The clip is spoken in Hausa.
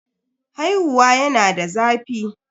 Haihuwa yana da zafi.